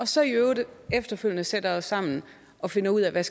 så i øvrigt efterfølgende sætter os sammen og finder ud af hvad